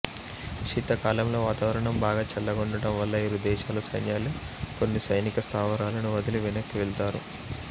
శీతాకాలములో వాతావరణం బాగా చల్లగా ఉండటం వల్ల ఇరు దేశాల సైన్యాలు కొన్ని సైనిక స్ధావరాలను వదిలి వెనక్కి వెళ్తారు